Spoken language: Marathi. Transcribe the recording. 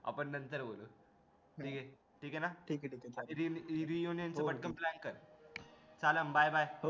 आपण नंतर बोलू ठीक आहे ना मी घेऊन येतो पटकन plan कर bye bye